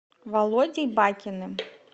володей бакиным